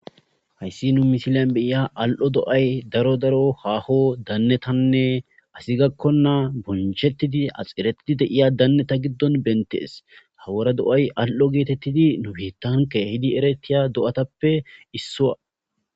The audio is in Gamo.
Hayssi nu misilan beya al'o do'y daro daro haaho dannetanne asi gakkona bonchettidi axeretidi deiya danneta giddon bentees hawara do'y al'o geetettidi nubitanke hidi eretiya do'atappe issuwa.